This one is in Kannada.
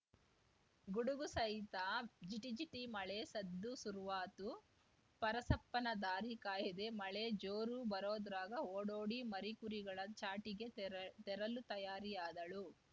ಗುಡುಗು ಸಹಿತ ಜಿಟಿ ಜಿಟಿ ಮಳೆ ಸದ್ದು ಸುರ್ವಾತು ಪರಸಪ್ಪನ ದಾರಿ ಕಾಯದೆ ಮಳೆ ಜೋರು ಬರುದ್ರಾಗ ಓಡೋಡಿ ಮರಿಕುರಿಗಳ ಚಾಟಿಗೆ ತೆರ ತೆರಲು ತಯಾರಿಯಾದಳು